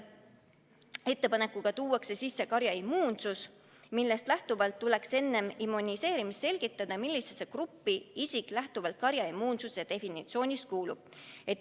Selle ettepanekuga tuuakse sisse mõiste "karjaimmuunsus", millest lähtuvalt tuleks enne immuniseerimist selgitada, millisesse gruppi isik lähtuvalt karjaimmuunsuse definitsioonist kuulub.